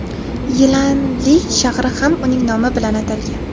Yilanli shahri ham uning nomi bilan atalgan.